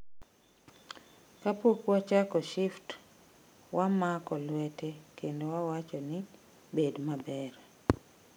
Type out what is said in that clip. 'Kapok wachako shift wamako lwete kendo wawacho ni 'bed maber'.